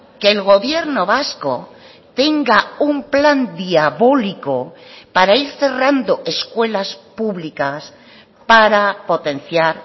que el gobierno vasco tenga un plan diabólico para ir cerrando escuelas públicas para potenciar